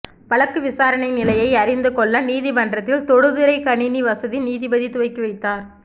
வழக்கு விசாரணை நிலையை அறிந்து கொள்ள நீதிமன்றத்தில் தொடுதிரை கணினி வசதி நீதிபதி துவக்கி வைத்தார்